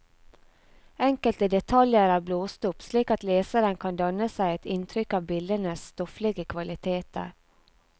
Enkelte detaljer er blåst opp, slik at leseren kan danne seg et inntrykk av bildenes stofflige kvaliteter.